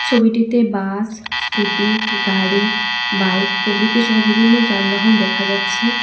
ছবিটিতে bus scooty গাড়ি bike প্রভৃতিসহ বিভিন্ন যানবাহন দেখা যাচ্ছে।